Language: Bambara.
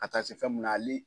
Ka taa se fɛn mun na hali